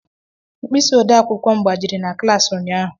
mkpịsị odee akwụkwọ m gbajiri na klas ụnyaahụ